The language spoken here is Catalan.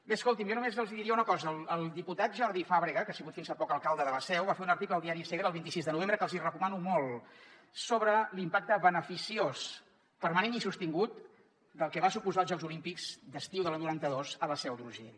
bé escoltin jo només els hi diria una cosa el diputat jordi fàbrega que ha sigut fins fa poc alcalde de la seu va fer un article al diari segre el vint sis de novembre que els hi recomano molt sobre l’impacte beneficiós permanent i sostingut del que van suposar els jocs olímpics d’estiu de l’any noranta dos a la seu d’urgell